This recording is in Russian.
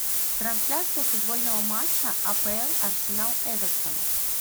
трансляция футбольного матча апл арсенал эвертон